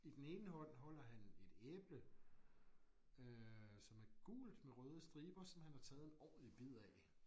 I den ene hånd holder han et æble øh som er gult med røde striber som han har taget en ordentlig bid af